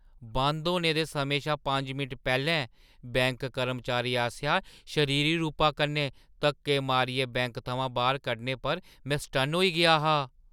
बंद होने दे समें शा पंज मिंट पैह्‌लें बैंक कर्मचारी आसेआ शरीरी रूप कन्नै धक्के मारियै बैंक थमां बाह्‌र कड्ढने पर मैं सटन्न होई गेआ हा।